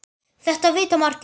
Þetta vita margir.